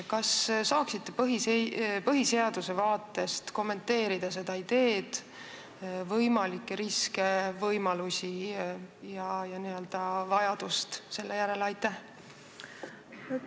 Kas saaksite põhiseaduse vaatevinklist kommenteerida seda ideed, võimalikke riske, võimalusi ja vajadust selle järele?